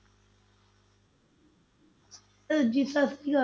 ਅਹ ਜੀ ਸਤਿ ਸ੍ਰੀ ਅਕਾਲ,